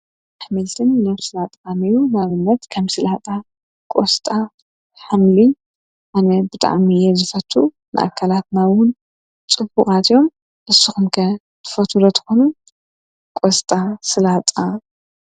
ኅሜልትን ነፍስ ኣጥሚዩ ናብነት ከም ሥላህጣ ፡ቖሥጣ ሓምል ፡ኣነ ብጣኣሚየ ዘፈቱ ንኣካላት ማውን ጽቡቓትዮም እስኹምከ ትፈትለትኾኑ ?ቈሥጣ ፡ሥላጣ